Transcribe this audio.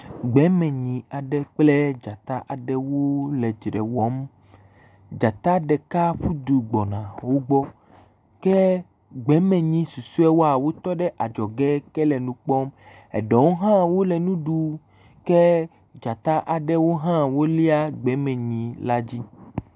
Gbemenyi aɖe kple dzata aɖewo le dzre wɔm. Dzata ɖeka ƒu du gbɔna wo gbɔ ke gbemenyi susuawo tɔ ɖe adzɔge ke le nu kpɔm. Eɖewo hã wole nu ɖum ke dzatawo hã wolia gbemenyi la dzi.